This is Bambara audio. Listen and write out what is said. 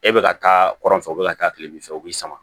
E bɛ ka taa kɔrɔn fɛ u bɛ ka taa tilebi fɛ o b'i sama